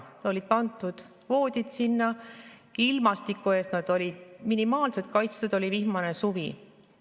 Sinna olid pandud voodid, ilmastiku eest nad olid minimaalselt kaitstud, aga oli vihmane suvi.